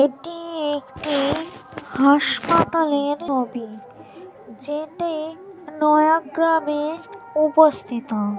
এটি একটি হাসপাতালের ছবি যেটি নয়াগ্রামে উপস্তিত ।